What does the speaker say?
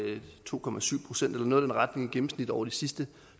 to procent eller noget i den retning i gennemsnit over de sidste